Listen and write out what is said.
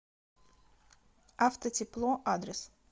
автотепло адрес